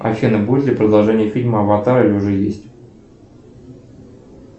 афина будет ли продолжение фильма аватар или уже есть